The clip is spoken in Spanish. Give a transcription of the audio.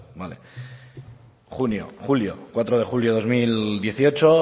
vale junio julio cuatro de julio dos mil dieciocho